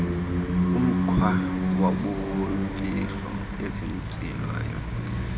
umkhwa wobumfihlo ozinzileyo